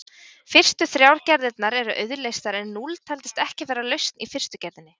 Fyrstu þrjár gerðirnar eru auðleystar en núll taldist ekki vera lausn í fyrstu gerðinni.